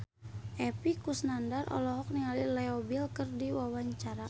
Epy Kusnandar olohok ningali Leo Bill keur diwawancara